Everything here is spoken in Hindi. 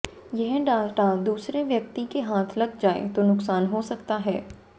यह डाटा दूसरे व्यक्ति के हाथ लग जाए तो नुकसान हो सकता है